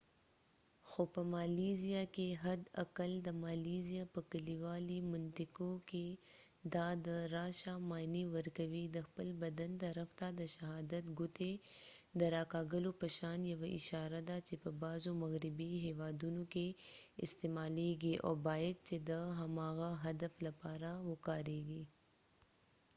خو په مالیزیا کې حد اقل د مالیزیا په کلیوالي منطقو کې دا د راشه معنی ورکوي د خپل بدن طرف ته د شهادت ګوتې د را کږولو په شان یوه اشاره ده چې په بعضو مغربي هیوادونو کې استعمالیږي او باید چې د هماغه هدف لپاره وکاریږي